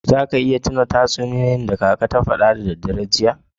Za ka iya tuna da tatsuniyoyi da kaka ya fada da dare jiya?